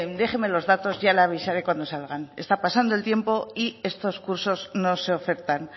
déjenme los datos ya le avisaré cuando salgan está pasando el tiempo y estos cursos no se ofertan